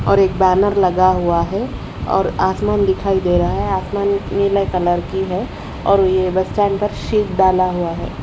और एक बैनर लगा हुआ है और आसमान दिखाई दे रहा है आसमान नीले कलर की है और ये बच्चान पर शीट डाला हुआ है।